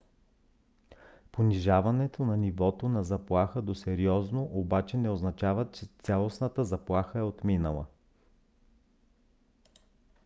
понижаването на нивото на заплаха до сериозно обаче не означава че цялостната заплаха е отминала.